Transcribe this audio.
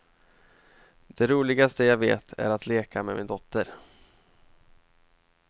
Det roligaste jag vet är att leka med min dotter.